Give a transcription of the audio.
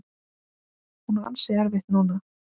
Hún á ansi erfitt núna.